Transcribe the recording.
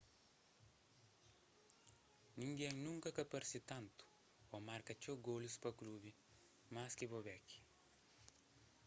ningén nunka ka parse tantu ô marka txeu golus pa klubi más ki bobek